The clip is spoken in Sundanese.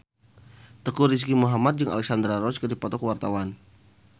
Teuku Rizky Muhammad jeung Alexandra Roach keur dipoto ku wartawan